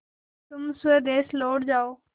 तुम स्वदेश लौट जाओ